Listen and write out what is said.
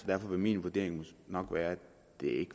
derfor vil min vurdering nok være at